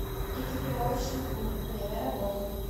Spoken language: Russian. экипировочный клуб время работы